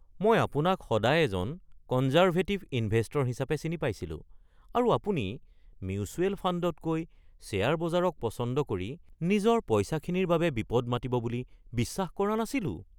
মই আপোনাক সদায় এজন কনজাৰ্ভেটিভ ইনভেষ্টৰ হিচাপে চিনি পাইছিলোঁ আৰু আপুনি মিউচুৱেল ফাণ্ডতকৈ শ্বেয়াৰ বজাৰক পচন্দ কৰি নিজৰ পইচাখিনিৰ বাবে বিপদ মাতিব বুলি বিশ্বাস কৰা নাছিলোঁ।